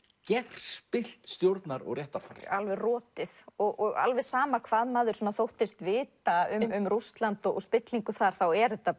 gerspillt stjórnar og réttarfar alveg rotið og alveg sama hvað maður þóttist vita um Rússland og spillingu þar þá er þetta